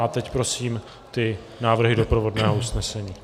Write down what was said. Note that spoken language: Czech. A teď prosím ty návrhy doprovodného usnesení.